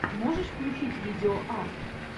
можешь включить видеоарт